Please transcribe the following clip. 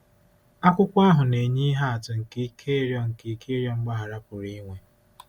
Akwụkwọ ahụ na-enye ihe atụ nke ike ịrịọ nke ike ịrịọ mgbaghara pụrụ inwe.